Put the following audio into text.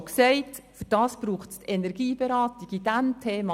Zu diesem Thema braucht es die Energieberatung nicht.